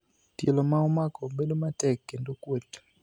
Tielo ma omako bedo matek kendo kuot.